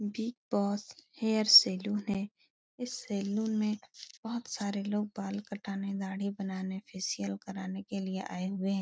Big Boss hair salon है। इस salon में बहुत सारे लोग बाल कटाने दाढ़ी बनाने फेसिअल कराने के लिये आये हुए हैं।